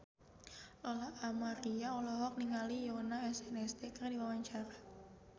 Lola Amaria olohok ningali Yoona SNSD keur diwawancara